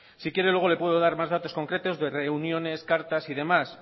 si quiere luego le puedo dar más datos concretos de reuniones cartas y demás